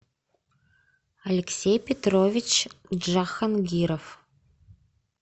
алексей петрович джахангиров